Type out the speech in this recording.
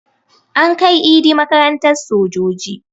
An kai Idi makarantan sojoji